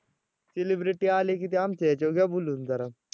celebrity आले की ते आमच्या ह्याच्यावर घ्या बोलवून जरा.